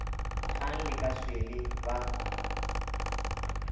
kgang le ka swele ba